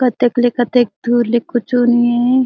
कतेक ले कतेक धूर ले कछु नई--